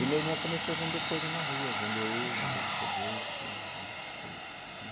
E meu irmão começou a vender coisa na rua, vender ovo, vender sorvete, vender essas coisas né.